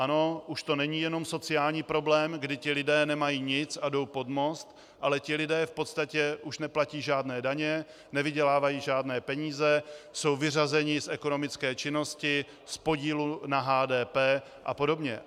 Ano, už to není jenom sociální problém, kdy ti lidé nemají nic a jdou pod most, ale ti lidé v podstatě už neplatí žádné daně, nevydělávají žádné peníze, jsou vyřazeni z ekonomické činnosti, z podílu na HDP a podobně.